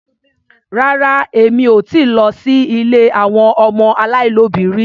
Rárá Èmi ò ti lọ sí ilé àwọn ọmọ aláìlóbìí rí.